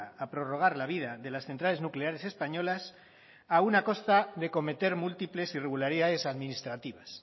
a prorrogar la vida de las centrales nucleares españolas aun a costa de cometer múltiples irregularidades administrativas